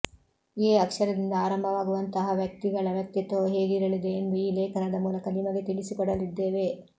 A ಅಕ್ಷರದಿಂದ ಆರಂಭವಾಗುವಂತಹ ವ್ಯಕ್ತಿಗಳ ವ್ಯಕ್ತಿತ್ವವು ಹೇಗಿರಲಿದೆ ಎಂದು ಈ ಲೇಖನದ ಮೂಲಕ ನಿಮಗೆ ತಿಳಿಸಿಕೊಡಲಿದ್ದೇವೆ